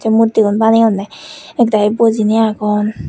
murti gun baneunne ek dagi bojinay agon.